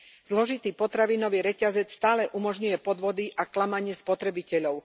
Zložitý potravinový reťazec stále umožňuje podvody a klamanie spotrebiteľov.